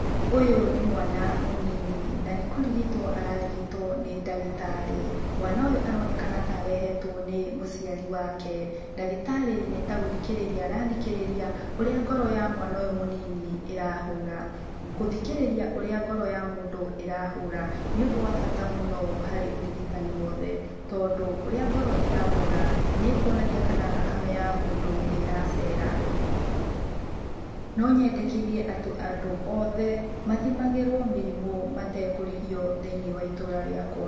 Ũyũ nĩ mwana mũnini, na nĩkũrigitũo ararigitũo nĩ ndagĩtarĩ. Mwana ũyũ aronekana ta arehetũo nĩ mũciari wake. Ndagĩtarĩ nĩ ta gũthikĩrĩria arathikĩrĩria ũrĩa ngoro ya mwana ũyũ mũnini ĩrahũra. Gũthikĩrĩria ũrĩa ngoro ya mũndũ ĩrahũra, nĩ ũndũ wa bata mũno harĩ ũrigitani wothe tondũ ũrĩa ngoro ĩrahũra nĩkuonagia kana thakame ya mũndũ nĩ ĩracera. No nyendekithie atũ andũ othe mathimagĩrũo mĩrimũ matekũrĩhio thĩiniĩ wa itũra rĩakũa.